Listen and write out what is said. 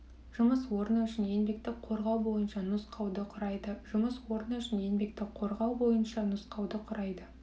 жұмыс орны үшін еңбекті қорғау бойынша нұсқауды құрайды жұмыс орны үшін еңбекті қорғау бойынша нұсқауды құрайды